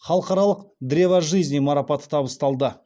халықаралық древо жизни марапаты табысталды